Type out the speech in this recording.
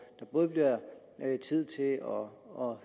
der både bliver tid til at høre og